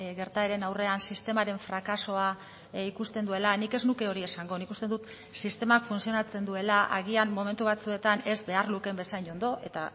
gertaeren aurrean sistemaren frakasoa ikusten duela nik ez nuke hori esango nik uste dut sistemak funtzionatzen duela agian momentu batzuetan ez behar lukeen bezain ondo eta